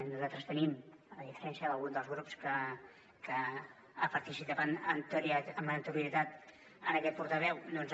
nosaltres tenim a diferència d’algun dels grups que ha participat amb anterioritat a aquest portaveu doncs